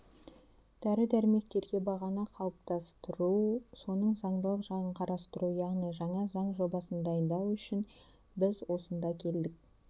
дәрі-дәрмектерге бағаны қалыптастыру соның заңдылық жағын қарастыру яғни жаңа заң жобасын дайындау үшін біз осында келдік